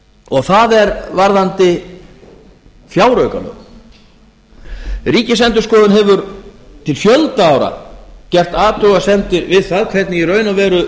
og það er varðandi fjáraukalög ríkisendurskoðun hefur til fjölda ára gert athugasemdir við það hvernig í raun og veru